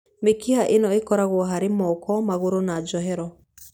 Mĩkiha ĩno ĩkoragwo harĩ moko, magũrũ na njohero.